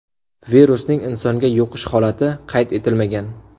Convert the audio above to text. Virusning insonga yuqish holati qayd etilmagan.